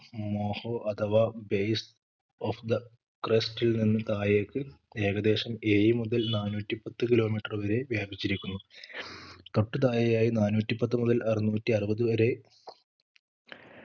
മോഹോ അതവാ base of the crust നിന്നും താഴേക്ക് ഏകദേശം ഏഴു മുതൽ നാനൂറ്റി പത്തു kilometer വരെ വ്യാപിചിരിക്കുന്നു തൊട്ടു താഴെയായി നാനൂറ്റി പത്തു മുതൽ അറന്നൂറ്റി അറുപത് വരെ